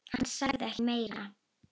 Hann sagði ekki meira.